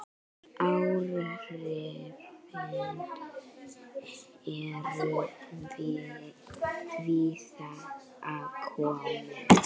Áhrifin eru víða að komin.